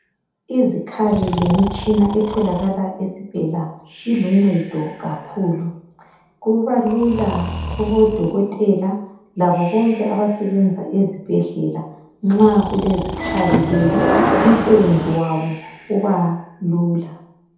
Izikhali lemitshina etholakala esibhedlela iluncedo kakhulu kuba lula kubodokotela labo bonke abasebenza esibhedlela nxa kulezikhali lezi umsebenzi wabo uba lula.